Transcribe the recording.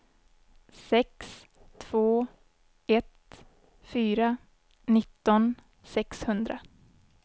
sex två ett fyra nitton sexhundra